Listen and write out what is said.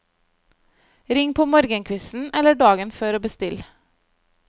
Ring på morgenkvisten, eller dagen før og bestill.